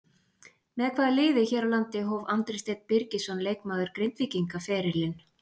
Með hvaða liði hér á landi hóf Andri Steinn Birgisson leikmaður Grindvíkinga ferilinn?